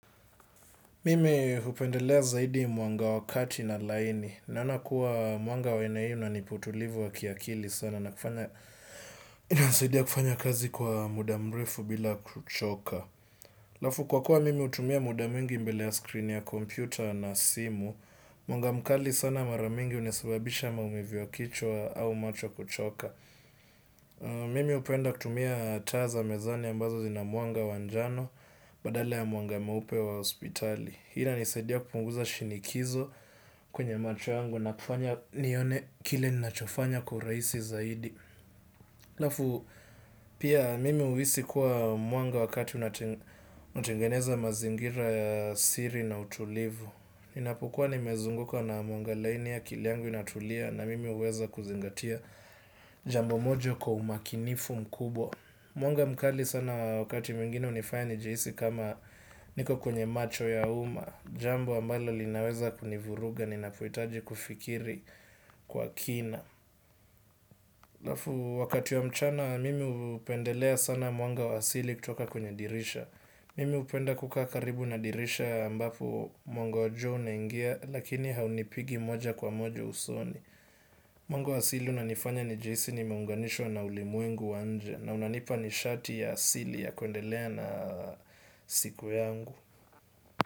Mimi hupendelea zaidi mwanga wa kati na laini naona kuwa mwanga wa aina hiyo unanipa utulivu wa akili sana. Na kufanya inanisaidia kufanya kazi kwa muda mrefu bila kuchoka. Halafu kwa kuwa mimi hutumia muda mwingi mbele ya skrini ya kompyuta na simu. Mwanga mkali sana mara mingi unasababisha maumivu ya kichwa au macho kuchoka. Mimi hupenda kutumia taa za mezani ambazo zina mwanga wa njano badala ya mwanga mweupe wa hospitali. Hi inanisaidia kupunguza shinikizo kwenye macho yangu na kufanya nione kile ninachofanya kwa urahisi zaidi halafu pia mimi huhisi kuwa mwanga wa kati unatengeneza mazingira ya asili na utulivu. Ninapokuwa nimezunguka na mwanga laini akili yangu inatulia na mimi huweza kuzingatia jambo moja kwa umakinifu mkubwa. Mwanga mkali sana wakati mwingine hunifanya nijihisi kama niko kwenye macho ya umma. Jambo ambalo linaweza kunivuruga ninapohitaji kufikiri kwa kina halafu wakati ya mchana mimi hupendelea sana mwanga wa asili kutoka kwenye dirisha mimi hupenda kukaa karibu na dirisha ambapo mwanga wa jua unaingia lakini haunipigi moja kwa moja usoni. Mwanga wa asili unanifanya nijihisi nimeunganishwa na ulimwengu wa nje na unanipa nishati ya asili ya kuendelea na siku yangu.